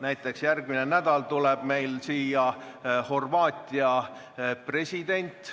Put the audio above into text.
Näiteks järgmine nädal tuleb meile külla Horvaatia president.